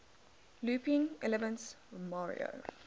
looping elements mario